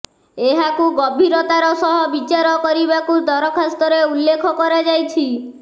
ଏହାକୁ ଗଭିରତାର ସହ ବିଚାର କରିବାକୁ ଦରଖାସ୍ତରେ ଉଲ୍ଲେଖ କରାଯାଇଛି